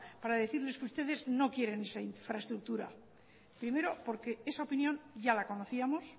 para decirles que ustedes no quieren esa infraestructura primero porque esa opinión ya la conocíamos